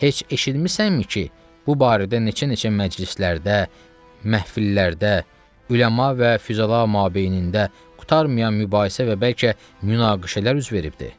Heç eşitmisənmi ki, bu barədə neçə-neçə məclislərdə, məhfillərdə, üləma və füzala mabeynində qurtarmayan mübahisə və bəlkə münaqişələr üz veribdir?